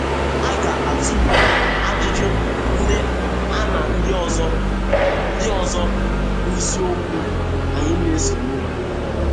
A ga - atụle ajụjụ ndị a na ndị ọzọ ndị ọzọ n’isiokwu anyi na - esonụ.